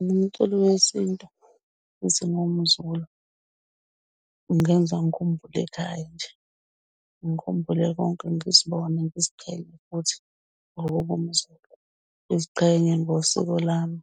Umculi wesintu ungenza ngikhumbule ekhaya nje, ngikhumbule konke ngizibone ngiziqhenya ukuthi ngokuba umZulu, ngiziqhenye ngosiko lami